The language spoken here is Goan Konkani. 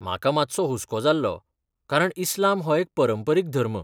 म्हाका मातसो हुसको जाल्लो, कारण इस्लाम हो एक परंपरीक धर्म.